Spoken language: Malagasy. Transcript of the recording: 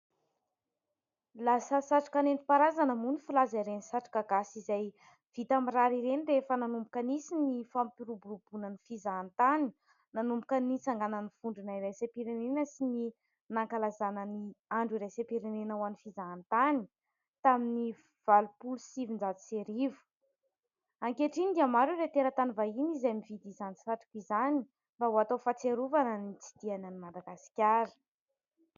Lasa satroka nentim-paharazana moa ny filaza ireny satroka gasy izay vita amin'ny rary ireny rehefa nanomboka nisy ny fampiroboroboana ny fizahantany nanomboka nitsanganan'ny vondrona iraisam-pirenena sy ny nankalazana ny andro iraisam-pirenena ho an'ny fizahantany tamin'ny valopolo sy sivinjato sy arivo. Ankehitriny dia maro ireo teratany vahiny izay mividy izany satroka izany mba ho atao fahatsiarovana ny nitsidihany an'i Madagasikara.